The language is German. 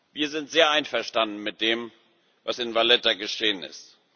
Wir sind sehr einverstanden mit dem, was in Valletta geschehen ist.